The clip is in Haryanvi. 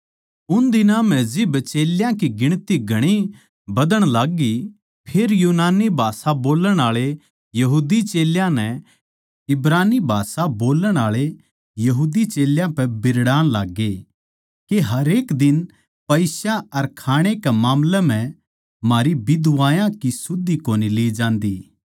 उन दिनां म्ह जिब चेल्यां की गिणती घणी बधण लाग्गी फेर यूनानी भाषा बोल्लण आळे यहूदी चेल्यां नै इब्रानी भाषा बोल्लण आळे यहूदी चेल्यां पै बिरड़ाण लाग्गे के हरेक दिन पईसा अर खाणे के मामले म्ह म्हारी बिधवायाँ की सुध कोनी ली जान्दी